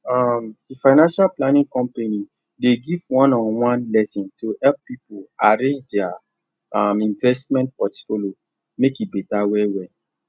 um the financial planning company dey give one on one lesson to help people arrange their um investment portfolio make e better well well